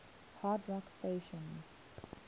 hard rock stations